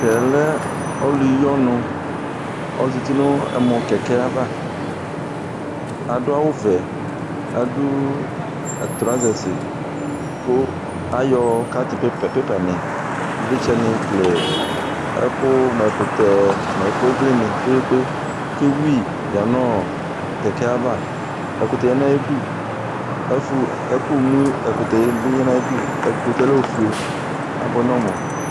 Tɛɛ lɛ ɔlʋyiɔnʋ Ɔzǝtɩ nʋ ɛmɔkɛkɛ ava Adʋ awʋvɛ, adʋ trɔsɛsɩ, kʋ ayɔ katɩ pepɛ nɩ, ivlitsɛ nɩ kele ɛkʋ mʋ ɛkʋtɛ nʋ ivli nɩ kpekpekpe, kʋ ewʋyɩ yǝ nʋ kɛkɛ yɛ ava Ɛkʋtɛ ya nʋ ayʋ ɩdʋ, ɛkʋmʋɛkʋtɛ bɩ yanʋ ayʋ ɩdʋ Ɛkʋtɛ yɛ lɛ ofue, abʋɛ nʋ ɔmʋ